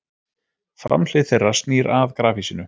Framhlið þeirra snýr að grafhýsinu.